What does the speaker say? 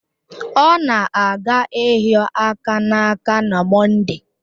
Ọ na-aga ịhịo aka n'aka na Mọnde